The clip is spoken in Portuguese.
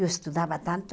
Eu estudava tanto.